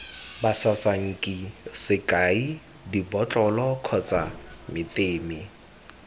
basasanki sekai dibotlolo kgotsa meteme